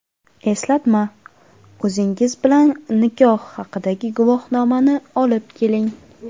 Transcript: Eslatma: O‘zingiz bilan nikoh haqidagi guvohnomani olib keling.